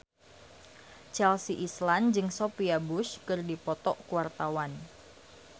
Chelsea Islan jeung Sophia Bush keur dipoto ku wartawan